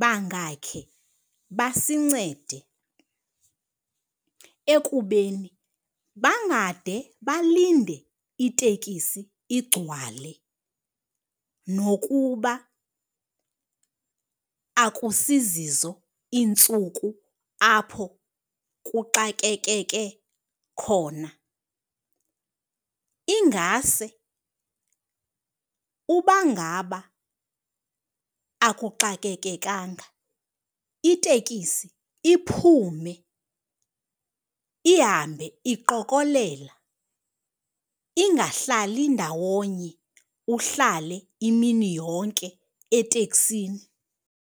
bangakhe basincede ekubeni bangade balinde itekisi igcwale nokuba akusizizo iintsuku apho kuxakekeke khona. Ingase uba ngaba akuxakekekanga, itekisi iphume ihambe iqokolela, ingahlali ndawonye uhlale imini yonke eteksini.